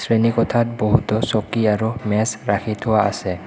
শ্ৰেণী কোঠাত বহুতো চকী আৰু মেজ ৰাখি থোৱা আছে।